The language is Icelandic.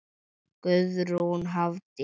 Guðrún Hafdís.